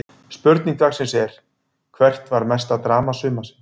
Spurning dagsins er: Hvert var mesta drama sumarsins?